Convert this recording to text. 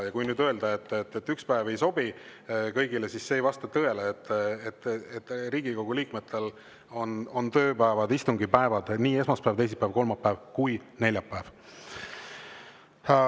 Ja kui nüüd öelda, et üks päev ei sobi kõigile, siis see ei vasta tõele, sest Riigikogu liikmetel on tööpäevad kõik istungipäevad: nii esmaspäev, teisipäev, kolmapäev kui ka neljapäev.